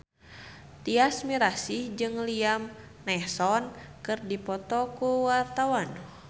Tyas Mirasih jeung Liam Neeson keur dipoto ku wartawan